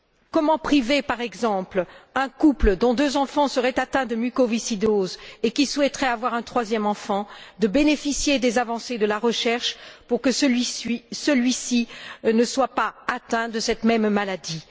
Comment priver, par exemple, un couple dont deux enfants seraient atteints de mucoviscidose et qui souhaiterait avoir un troisième enfant, des avancées de la recherche pour que celui ci ne soit pas atteint de cette même maladie?